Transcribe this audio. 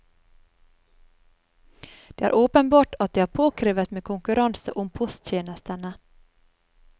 Det er åpenbart at det er påkrevet med konkurranse om posttjenestene.